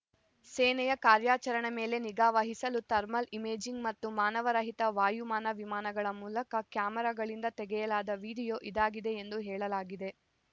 ಸೇನೆಯ ಕಾರ್ಯಾಚರಣೆ ಮೇಲೆ ನಿಗಾ ವಹಿಸಲು ಥರ್ಮಲ್‌ ಇಮೇಜಿಂಗ್‌ ಮತ್ತು ಮಾನವ ರಹಿತ ವಾಯುಯಾನ ವಿಮಾನಗಳ ಮೂಲಕ ಕ್ಯಾಮೆರಾಗಳಿಂದ ತೆಗೆಯಲಾದ ವಿಡಿಯೋ ಇದಾಗಿದೆ ಎಂದು ಎಂದು ಹೇಳಲಾಗಿದೆ